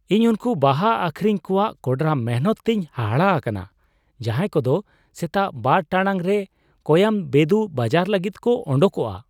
ᱤᱧ ᱩᱱᱠᱩ ᱵᱟᱦᱟ ᱟᱹᱠᱷᱨᱤᱧ ᱠᱚᱣᱟᱜ ᱠᱚᱰᱨᱟ ᱢᱤᱱᱦᱟᱹᱛ ᱛᱮᱧ ᱦᱟᱦᱟᱲᱟ ᱟᱠᱟᱱᱟ ᱡᱟᱦᱟᱭ ᱠᱚᱫᱚ ᱥᱮᱛᱟᱜ ᱒ ᱴᱟᱲᱟᱝ ᱨᱮ ᱠᱳᱭᱟᱢᱵᱮᱫᱩ ᱵᱟᱡᱟᱨ ᱞᱟᱹᱜᱤᱫ ᱠᱚ ᱳᱰᱳᱠᱚᱜᱼᱟ ᱾